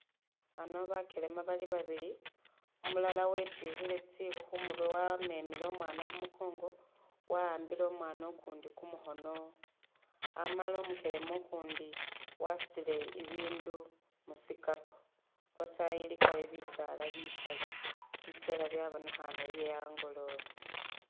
Ano bakelema bali babili umulala wetyukhile tsikhu khumurwe wamemele omwana khumukongo, wa'ambile mwana ukundi kumukhono, amala umukelema ukundi wasutile i'bindu musikapu lwatayi ilikayo bisaala bikali , bisela byabonekhane bye'angoloobe